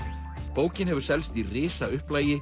bókin hefur selst í